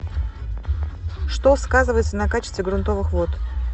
что сказывается на качестве грунтовых вод